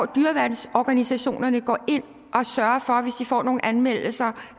dyreværnsorganisationerne hvis de får nogle anmeldelser